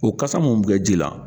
O kasa mun bɛ kɛ ji la